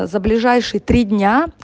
за ближайшие три дня